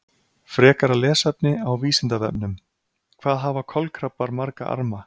Frekara lesefni á Vísindavefnum: Hvað hafa kolkrabbar marga arma?